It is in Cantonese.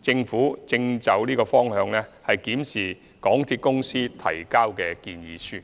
政府正就此方向檢視港鐵公司提交的建議書。